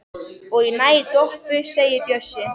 Og ég næ í Doppu segir Bjössi.